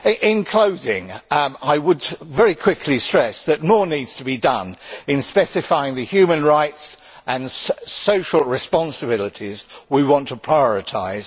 In closing, I would very quickly stress that more needs to be done in specifying the human rights and social responsibilities we want to prioritise.